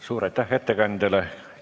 Suur aitäh ettekandjale!